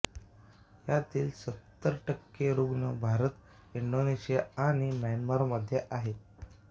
यातील सत्तर टक्के रुग्ण भारत इंडोनेशिया आणि म्यानमार मध्ये आहेत